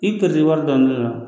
I bi pɛridi wari dɔni de la